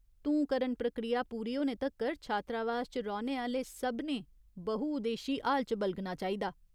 धूंकरण प्रक्रिया पूरी होने तक्कर छात्रावास च रौह्‌ने आह्‌ले सभनें बहुउद्देश्यी हाल च बलगना चाहिदा।